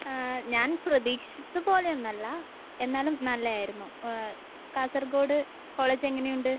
ആ. ഞാൻ പ്രതീക്ഷിച്ചത് പോലെയൊന്നുമല്ല. എന്നാലും നല്ലതായിരുന്നു. എഹ് കാസർഗോഡ് കോളജ് എങ്ങനെയുണ്ട്?